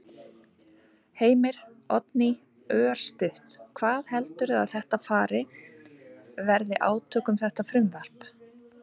Heimir: Oddný, örstutt, hvað heldurðu að þetta fari, verði átök um þetta frumvarp?